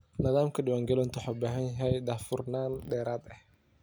Nidaamka diiwaangelintu wuxuu u baahan yahay daahfurnaan dheeraad ah.